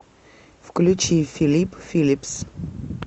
включи филип филипс